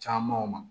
Camanw ma